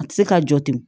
A tɛ se ka jɔ ten